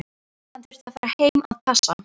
Hann þurfti að fara heim að passa.